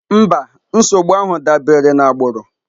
Mba, nsogbu ahụ dabere na agbụrụ.